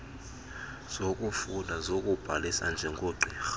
zokufunda zokubhalisa njengogqirha